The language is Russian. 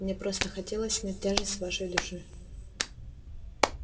мне просто хотелось снять тяжесть с вашей души